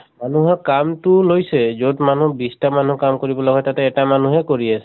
মানুহৰ কাম্তো লৈছে । যʼত মানুহ বিছ টা মানুহ কাম কৰিব লগা হয় তাত এটা মানুহ কাম কৰি আছে ।